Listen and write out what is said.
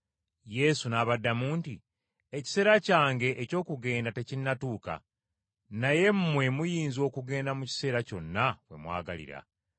Yesu n’abaddamu nti, “Ekiseera kyange eky’okugenda tekinnatuuka. Naye mmwe muyinza okugenda mu kiseera kyonna we mwagalira.